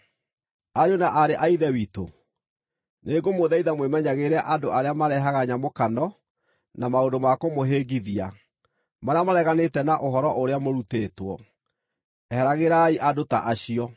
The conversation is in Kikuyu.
Ariũ na aarĩ a Ithe witũ, nĩngũmũthaitha mwĩmenyagĩrĩre andũ arĩa marehaga nyamũkano na maũndũ ma kũmũhĩngithia, marĩa mareganĩte na ũhoro ũrĩa mũrutĩtwo. Eheragĩrai andũ ta acio.